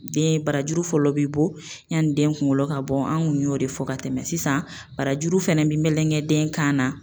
Den barajuru fɔlɔ bi bɔ yanni den kunkolo ka bɔ, an kun y'o de fɔ ka tɛmɛ sisan barajuru fɛnɛ bi melegenden kan na